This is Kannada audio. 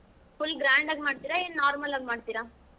Full grand ಆಗ್ ಮಾಡ್ತೀರಾ ಏನ್ normal ಆಗಿ ಮಾಡ್ತೀರಾ?